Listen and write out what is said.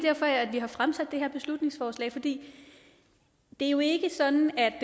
har fremsat det her beslutningsforslag for det er jo ikke sådan at